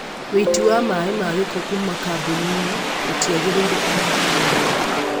wĩiti wa maaĩ ma gĩko kuma kambuni-inĩ gũtiagĩrĩire ona hanini